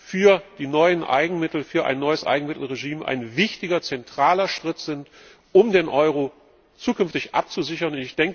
für die neuen Eigenmittel, für ein neues Eigenmittelregime ein wichtiger zentraler Schritt sind, um den Euro zukünftig abzusichern.